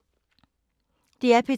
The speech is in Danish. DR P2